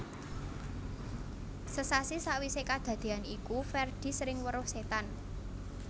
Sesasi sawisé kadadean iku Ferdi sering weruh setan